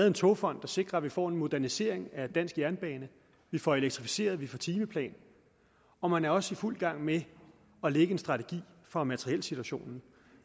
en togfond der sikrer at vi får en modernisering af dansk jernbane vi får elektrificeret vi får timeplan og man er også i fuld gang med at lægge en strategi for materielsituationen